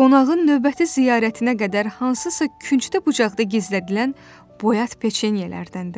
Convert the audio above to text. qonağın növbəti ziyarətinə qədər hansısa küncdə bucaqda gizlədilən boyat peçenyelərdəndir.